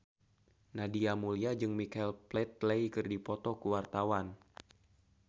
Nadia Mulya jeung Michael Flatley keur dipoto ku wartawan